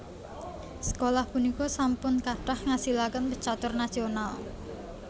Sekolah punika sampun kathah ngasilaken pecatur nasional